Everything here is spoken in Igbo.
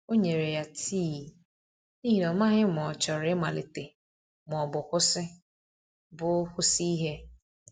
O nyere ya tii, n’ihi na ọ maghị ma ọ chọrọ ịmalite ma ọ bụ kwụsị bụ kwụsị ihe.